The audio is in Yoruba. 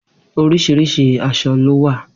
Orísirìsi asọ ló wà.